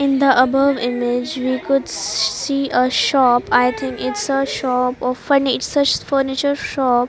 in the above image we could see a shop i think its a shop often its a furniture shop.